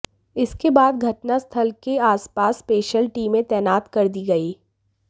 इसके बाद घटनास्थल के आसपास स्पेशल टीमें तैनात कर दी गईं